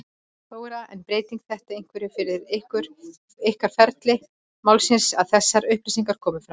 Þóra: En breytir þetta einhverju fyrir ykkur og ferli málsins að þessar upplýsingar komi fram?